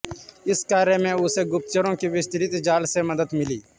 इस कार्य में उसे गुप्तचरों के विस्तृत जाल से मदद मिली